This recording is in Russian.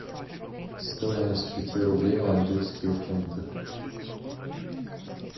стоимость пяти рублей в английские фунты